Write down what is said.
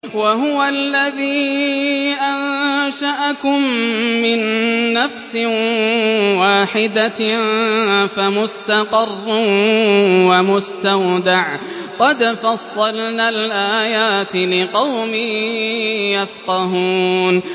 وَهُوَ الَّذِي أَنشَأَكُم مِّن نَّفْسٍ وَاحِدَةٍ فَمُسْتَقَرٌّ وَمُسْتَوْدَعٌ ۗ قَدْ فَصَّلْنَا الْآيَاتِ لِقَوْمٍ يَفْقَهُونَ